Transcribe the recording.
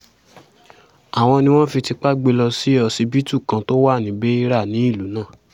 àwọn ni wọ́n fi tipa gbé e lọ sí ọsibítù kan tó wà ní beira ní ìlú náà